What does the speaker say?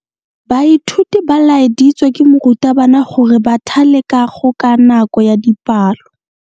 Baithuti ba laeditswe ke morutabana gore ba thale kago ka nako ya dipalo.